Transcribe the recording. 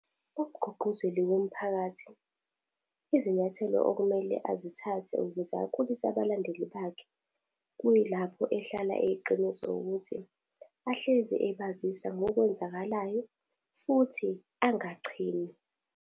Umgqugquzeli womphakathi, izinyathelo okumele azithathe ukuze akhulise abalandeli bakhe, kuyilapho ehlala eyiqiniso ukuthi, ahlezi ebazisa ngokwenzakalayo, futhi angachemi.